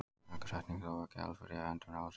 Lagasetningin er þó ekki alfarið í höndum ráðsins.